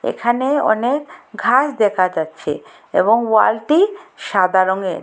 এখানে অনেক ঘাস দেখা যাচ্ছে এবং ওয়ালটি সাদা রঙের।